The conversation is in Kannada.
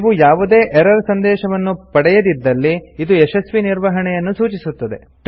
ನೀವು ಯಾವುದೇ ಎರರ್ ಸಂದೇಶವನ್ನು ಪಡೆಯದಿದ್ದಲ್ಲಿ ಇದು ಯಶಸ್ವಿ ನಿರ್ವಹಣೆಯನ್ನು ಸೂಚಿಸುತ್ತದೆ